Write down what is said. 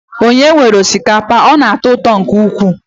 Ònye nwere osikapa a? Ọ na-atọ ụtọ nke ukwuu.